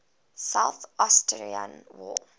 south ossetia war